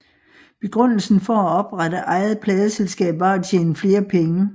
Begrundelsen for at oprette eget pladeselskab var at tjene flere penge